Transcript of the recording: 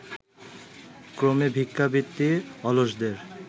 ক্রমে ভিক্ষাবৃত্তি অলসদের